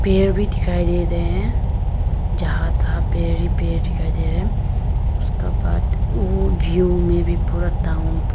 पेड़ भी दिखाई दे रहे हैं जहां तहां पेड़ ही पेड़ दिखाई दे रहे हैं उसका बाद वो व्यू मे भी पूरा टाउन --